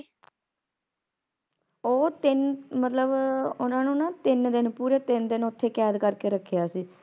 ਉਹ ਤਿਨ ਮਤਲਬ ਓਹਨਾ ਨੂੰ ਤਿਨ ਦਿਨ ਪੂਰੇ ਤਿਨ ਦਿਨ ਓਥੇ ਕੈਦ ਕਰਕੇ ਰੱਖਿਆ ਸੀ